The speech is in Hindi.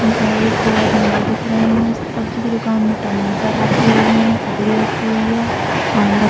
और एक दो आदमी और दिख रहे है सब्जी के दुकान में टमाटर रखी हुए है ककड़ी रखी हुई है आम रख --